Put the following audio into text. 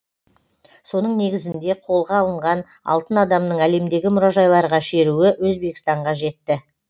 соның негізінде қолға алынған алтын адамның әлемдегі мұражайларға шеруі өзбекстанға жетті